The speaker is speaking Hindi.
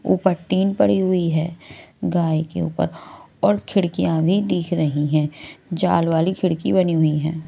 ऊपर टीन पड़ी हुई है गाय के ऊपर और खिड़कियां भी दिख रही हैं जाल वाली खिड़की बनी हुई है।